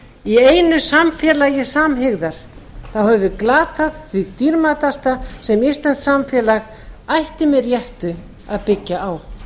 í einu samfélagi samhygðar höfum við glatað því dýrmætasta sem íslenskt samfélag ætti með réttu að byggja á